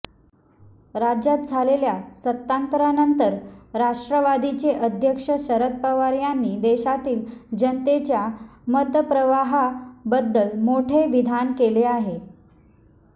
राज्यात झालेल्या सत्तांतरानंतर राष्ट्रवादीचे अध्यक्ष शरद पवार यांनी देशातील जनतेच्या मतप्रवाहाहाबद्दल मोठे विधान केले आहे